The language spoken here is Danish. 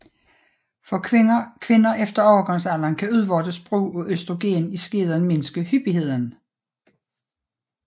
For kvinder efter overgangsalderen kan udvortes brug af østrogen i skeden mindske hyppigheden